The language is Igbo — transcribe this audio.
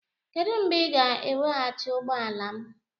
Kedu mgbe ị ga-eweghachi ụgbọ ala m?